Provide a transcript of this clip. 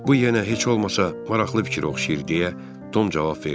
Bu yenə heç olmasa maraqlı fikirə oxşayır deyə Tom cavab verdi.